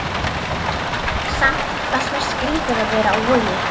Samt fannst mér skrýtið að vera á Vogi.